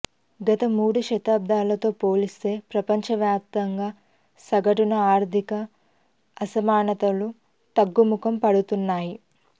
గత మూడు దశాబ్దాలతో పోల్చితే ప్రపంచవ్యాప్తంగా సగటున ఆర్థిక అసమానతలు తగ్గుముఖం పడుతున్నాయి